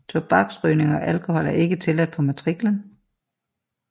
Tobaksrygning og alkohol er ikke tilladt på matriklen